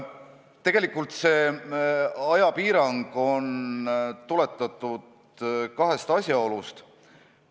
Tegelikult see ajapiirang on ajendatud kahest asjaolust.